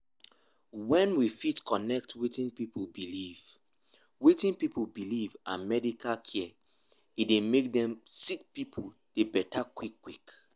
wen we fit connect wetin pipu believe wetin pipu believe and medical care e dey make dem sick pipu dey beta quick quick.